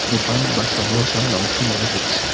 দোকান বা সংগ্রহ সালার অংশ মনে হচ্ছে।